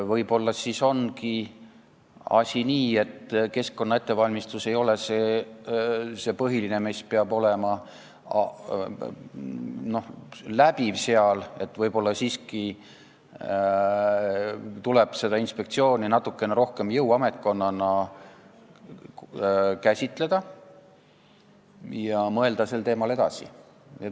Võib-olla siis ongi asi nii, et keskkonnaettevalmistus ei ole see põhiline, mis peab seal olema, ja võib-olla siiski tuleb seda inspektsiooni natukene rohkem jõuametkonnana käsitleda ja mõelda sel teemal edasi.